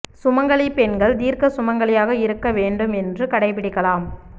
சுமங்கலி பெண்கள் தீர்க்க சுமங்கலியாக இருக்க வேண்டும் என்று கடைபிடிக்கலாம்